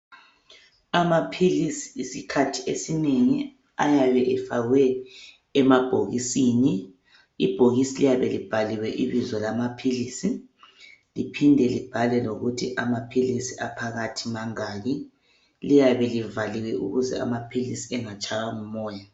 Amaphilisi isikhathi esinengi ayabe efakwe emabhokisini. Ibhokisi liyabe libhaliwe ibizo lamaphilisi, liphinde libhalwe lokuthi amaphilisi aphakathi mangaki. Liyabe livaliwe ukuze amaphilisi engatshaywa ngumoya.